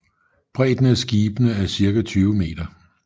Bredden af skibene er cirka 20 meter